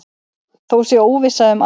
Þó sé óvissa um áhrifin.